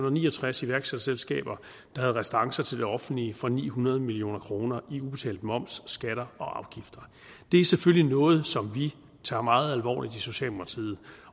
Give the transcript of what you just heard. og ni og tres iværksætterselskaber der havde restancer til det offentlige for ni hundrede million kroner i ubetalt moms skatter og afgifter det er selvfølgelig noget som vi tager meget alvorligt i socialdemokratiet